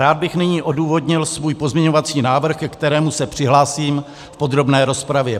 Rád bych nyní odůvodnil svůj pozměňovací návrh, ke kterému se přihlásím v podrobné rozpravě.